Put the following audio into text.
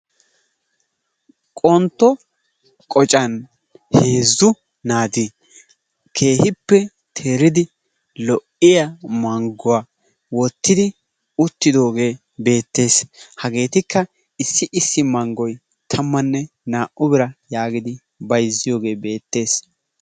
Qontto qocan heezzu naati keehippe teeridi lo'iya mangguwa wottidi uttidoogee beettes. Hageetikka issi issi manggoy tammannne naa"u bira yaagidi bayzziyogee beettes.